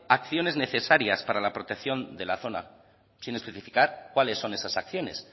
acciones necesarias para la protección de la zona sin especificar cuáles son esas acciones